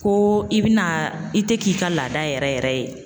Ko i bina i tɛ k'i ka laada yɛrɛ yɛrɛ ye.